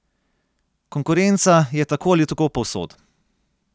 Konkurenca je tako ali tako povsod.